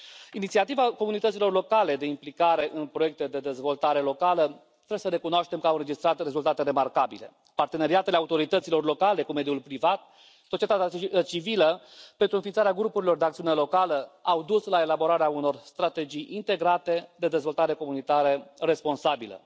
Inițiativele comunităților locale de implicare în proiecte de dezvoltare locală, trebuie să recunoaștem că au înregistrat rezultate remarcabile, parteneriatele autorităților locale cu mediul privat, societatea civilă, pentru înființarea grupurilor de acțiune locală au dus la elaborarea unor strategii integrate de dezvoltare comunitară responsabilă.